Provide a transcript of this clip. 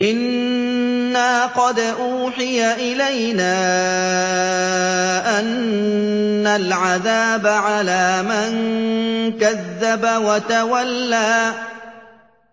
إِنَّا قَدْ أُوحِيَ إِلَيْنَا أَنَّ الْعَذَابَ عَلَىٰ مَن كَذَّبَ وَتَوَلَّىٰ